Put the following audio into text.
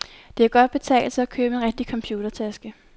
Det kan godt betale sig at købe en rigtig computertaske.